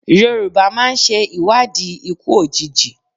Yorùbá máa ń ṣe ìwádìí ikú òjijì.